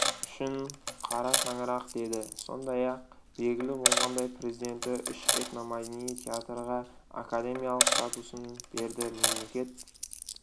үшін қара шаңырақ деді сондай-ақ белгілі болғандай президенті үш этномәдени театрға академиялық статусын берді мемлекет